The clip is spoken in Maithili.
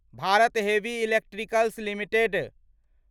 Bharat heavy electricals limited